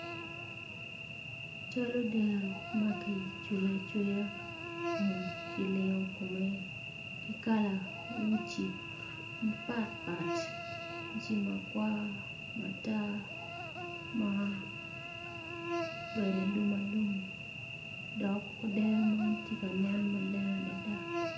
Cal odero makicweyo acweya kun kilingo kome kikala uci mapat pat uci makwar matar ma obedo alum alum dok odero man tye ka nen maleng adada.